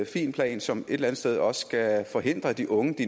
fin plan som et eller andet sted også skal forhindre at de unge